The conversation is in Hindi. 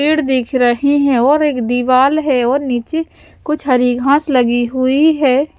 पेड़ दिख रहे हैं और एक दीवार है और नीचे कुछ हरी घास लगी हुई है।